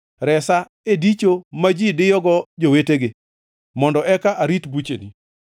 Resa e dicho ma ji diyogo jowetegi, mondo eka arit bucheni.